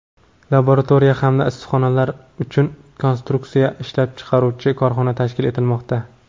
laboratoriya hamda issiqxonalar uchun konstruksiyalar ishlab chiqaruvchi korxona tashkil etilmoqda.